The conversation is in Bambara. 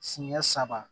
Siɲɛ saba